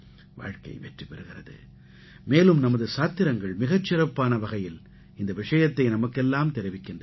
வாழ்க்கை வெற்றி பெறுகிறது மேலும் நமது சாத்திரங்கள் மிகச் சிறப்பான வகையில் இந்த விஷயத்தை நமக்கெல்லாம் தெரிவிக்கின்றன